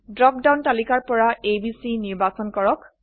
drop down তালিকাৰ পৰা a b c নিৰ্বাচন কৰক